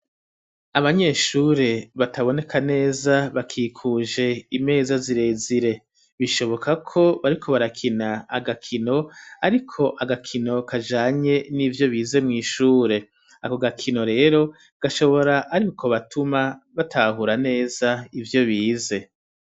Abanyeshure bataboneka neza bakikuje imeza zirezire bishoboka ko bariko barakina agakino ariko agakino kajanye n'ivyo bize mu ishure ako gakino rero gashobora ariko batuma batahura neza ivyo bize.